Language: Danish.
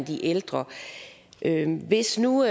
de ældre hvis nu